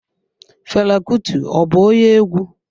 Fela Kuti ọ bụ onye egwu?